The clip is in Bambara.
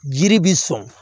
Jiri bi sɔn